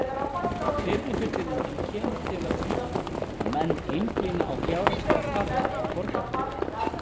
Fyrri fullyrðingin kemur til af því að menn einblína á fjárhagslegar þarfir borgarbúa.